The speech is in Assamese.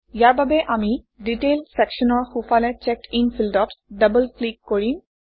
ইয়াৰ বাবে আমি ডিটেইল চেকশ্যনৰ সোঁফালে চেকডিন ফিল্ডত ডবল ক্লিক কৰিম